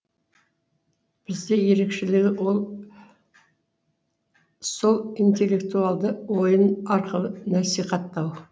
бізде ерекшелігі ол сол интеллектуалды ойын арқылы насихаттау